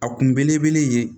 A kun belebele ye